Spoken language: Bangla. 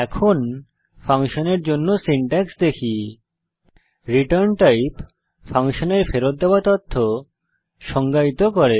এখন ফাংশনের জন্য সিনট্যাক্স দেখি ret টাইপ ফাংশনের ফেরৎ দেওয়া তথ্য সংজ্ঞায়িত করে